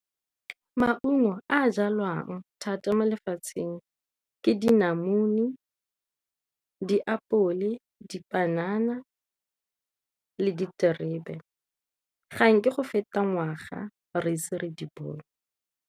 Maungo a a jalwang thata mo lefatsheng ke dinamune, ditapole, dipanana le diterebe ga nke go feta ngwaga re ise re di bone.